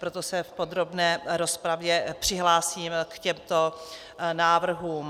Proto se v podrobné rozpravě přihlásím k těmto návrhům.